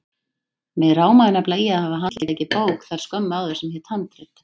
Mig rámaði nefnilega í að hafa handleikið bók þar skömmu áður sem hét Handrit.